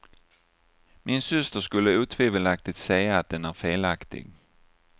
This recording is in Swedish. Min syster skulle otvivelaktigt säga att den är felaktig.